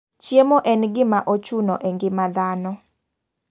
Chiemo en gima ochuna e ngima dhano.